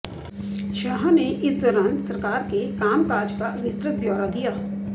शाह ने इस दौरान सरकार के कामकाज का विस्तृत ब्योरा दिया